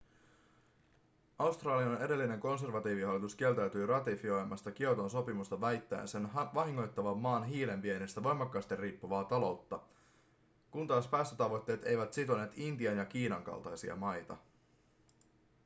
australian edellinen konservatiivihallitus kieltäytyi ratifioimasta kioton sopimusta väittäen sen vahingoittavan maan hiilen viennistä voimakkaasti riippuvaa taloutta kun taas päästötavoitteet eivät sitoneet intian ja kiinan kaltaisia maita